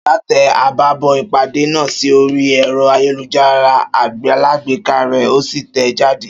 Ṣọlá tẹ àbábọ̀ ìpàdé náà sí orí ẹrọ ayélujára alágbèéká rẹ, òsì tẹẹ jáde